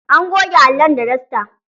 An goge allon da dasta.